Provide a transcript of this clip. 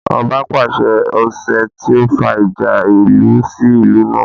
Ọba pàṣẹ ọsẹ́ tí ó fa ìjà ìlú sí ìlú náà